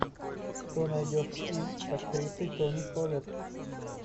что найдешь из с актрисой тони коллетт